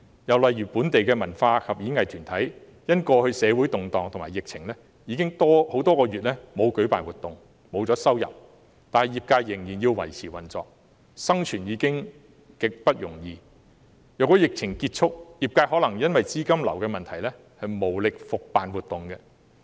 又例如，本地文化及演藝團體因為過去社會動盪及疫情等，已經很多個月沒有舉辦活動，失去收入，但業界仍然要維持運作，生存已經極不容易，即使疫情結束，業界也可能因資金流的問題而無力復辦活動。